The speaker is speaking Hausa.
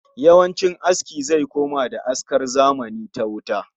Yawancin aski zai koma da askar zamani ta wuta